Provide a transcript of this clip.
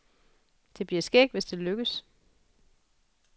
Det bliver skægt, hvis det lykkes.